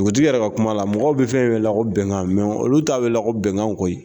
Dugutigi yɛrɛ ka kuma la mɔgɔw bɛ fɛn welela ko bɛnkan olu t'a welela ko bɛnkan koyi